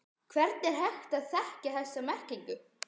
Hvernig er hægt að þekkja þessa merkingu?